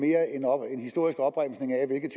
historisk opremsning af hvilke